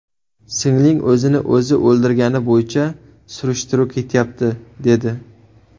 Singling o‘zini o‘zi o‘ldirgani bo‘yicha surishtiruv ketyapti, dedi.